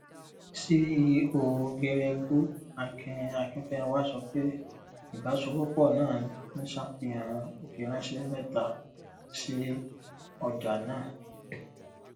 ceo geregu akin akínfẹnwá sọ pé ìbáṣòwòpọ náà ń ṣàfihàn ìfiránṣẹ mẹta sí ọjà náà